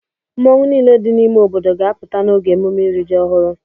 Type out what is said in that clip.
Mmọnwụ niile dị n'ime obodo ga-apụta n'oge emume iri ji ọhụrụ.